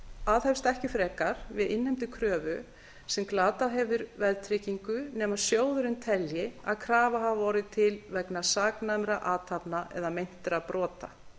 aðhefst ekki frekar við innheimtu kröfu sem glatað hefur veðtryggingu nema sjóðurinn telji að krafa hafi orðið til vegna saknæmra athafna eða meintra brota